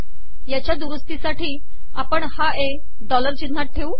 याचया दुरसतीसाठी आपण हा ए डॉलर िचनहात ठेव